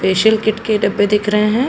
Facial kit के डब्बे दिख रहे हैं।